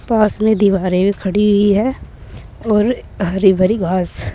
पास में दीवारें खड़ी हुई है और हरी भरी घास।